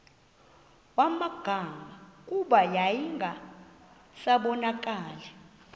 magama kuba yayingasabonakali